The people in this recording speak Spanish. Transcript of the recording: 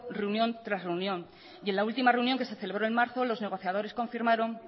reunión tras reunión y en la última reunión que se celebró en marzo los negociadores confirmaron